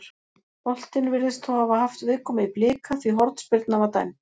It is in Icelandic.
Boltinn virðist þó hafa haft viðkomu í Blika því hornspyrna var dæmd.